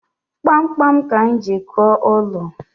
Kpamkpam ka anyi ji kụo ụlọ